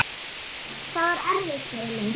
Það var erfitt fyrir mig.